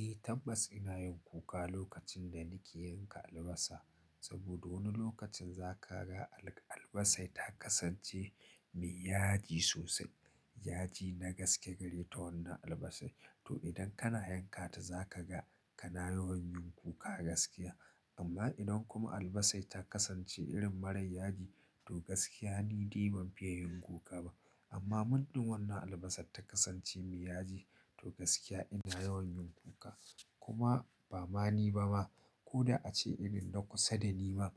Eh tabbas ina yin kuka lokacin da nake yanka albasa saboda wani lokacin za ka ga albasa ta kasance mai yaji sosai. Yaji na gaske gare ta wannan albasa. To idan kana yanka ta za ka ga kana yawan yin kuka gaskiya. Amma idan kuma albasa ta kasance irin marar yaji to gaskiya ni dai ban fiya yin kuka ba. Amma mundin wannan albasar ta kasance mai yaji to gaskiya ina yawan yin kuka. Kuma ba ma ni ba ma ko da ace irin na kusa da ni ma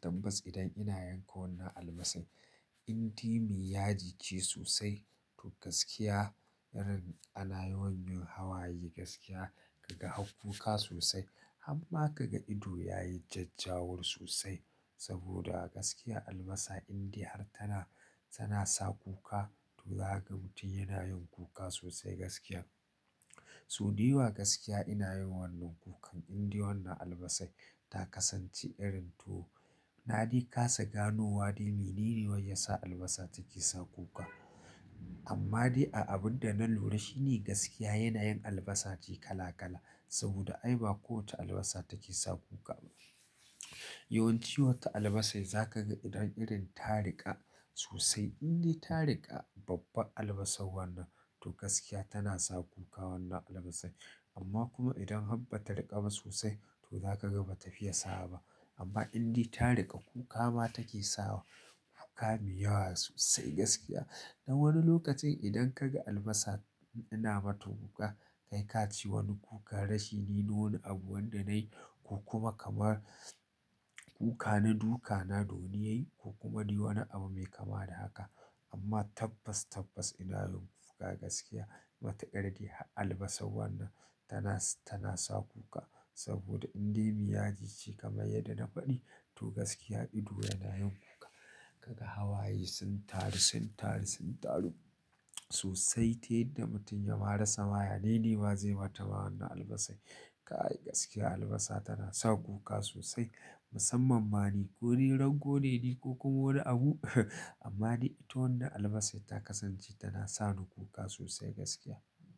tabbas idan ina yanka wannan albasa, inde mai yaji ce sosai tou gaskiya ana yawan yin hawaye gaskiya kaga har kuka sosai har ma kaga ido yayi jajjawur sosai saboda a gaskiya albasa inde har tana sa kuka tou za kaga mutum yana kuka sosai gaskiya so dayawa gaskiya ina irin wannan kukan inde wannan albasan ta kasance irin tou na de kasa gano wa de menene wai yasa albasa take sa kuka amma de a abinda na lura shine gaskiya yana yin albasa ce kala kala saboda ai ba ko wacce albasa take sa kuka ba yawanci wata albasan za kaga idan irin ta rika sosai in de ta reka babban albasan wannan tou gaskiya tana sa kuka wannan albasan amma kuma idan har bata reka ba sosai tou za kaga bata fiya sawa ba amma indai ta riƙa kuka ma take sawa kuka mai yawa sosai gaskiya. Don wani lokacin idan ka ga albasa ina mata kuka kai ka ce wani kuka rashi ne na wani abu wanda nayi ko kuma kamar kuka na duka na da wani yayi ko kuma dai wani abu mai kama da haka. Amma tabbas tabbas ina yin kuka gaskiya matukar dai albasa wannan tana, tana sa kuka saboda indai miyaji ce kamar yadda na faɗi to gaskiya ido yana yin kuka ka ga hawaye sun taru, sun taru, sun taru sosai. Amma in dai ta riƙa kuka ma take sawa kuka me yawa sosai gaskiya dan wani lokacin idan kaga albasa ina mata kuk to gaskiya tana sa kuka wannan albasa. Amma kuma idan har ba ta riƙa ba sosai to za ka ga ba ta fiye Kai gaskiya albasa tana sa kuka sosai musamman ma ni ko ni ragone ne dai ko kuma wani abu amma dai ita wannan albasa ta kasance tana sa ni kuka sosai gaskiya.